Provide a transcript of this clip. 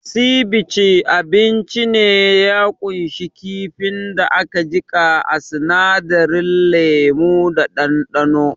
Sivice abinci ne da ya kunshi kifin da aka jika a sinadarin lemu da ɗanɗano